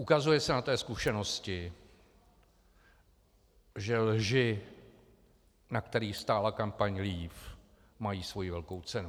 Ukazuje se na té zkušenosti, že lži, na kterých stála kampaň Leave, mají svoji velkou cenu.